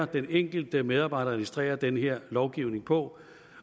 den enkelte medarbejder administrerer den her lovgivning på